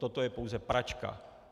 Toto je pouze pračka.